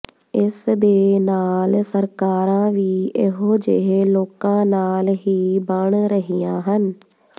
ਇਸ ਦੇ ਨਾਲ ਸਰਕਾਰਾਂ ਵੀ ਇਹੋ ਜਿਹੇ ਲੋਕਾਂ ਨਾਲ ਹੀ ਬਣ ਰਹੀਆਂ ਹਨ